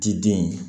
Ti den in